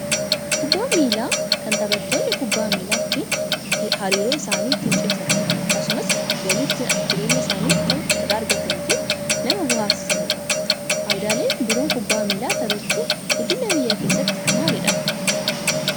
Kubbaan miilaa kan taphannoonni kubbaa miilaa ittiin hariiroo isaanii ittiin cimsatan akkasumas galii ittiin jireenya isaaniif ta'u irraa argatanii fi nama bohaarsanidha. Fayidaaleen biroon kubbaa miilaa taphachuu guddina biyyaa keessatti maalidha?